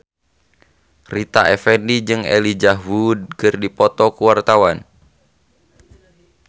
Rita Effendy jeung Elijah Wood keur dipoto ku wartawan